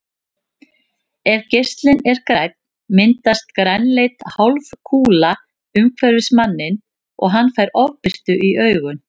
Ef geislinn er grænn myndast grænleit hálfkúla umhverfis manninn og hann fær ofbirtu í augun.